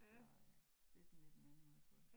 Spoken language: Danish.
Så øh så det sådan lidt nemmere at få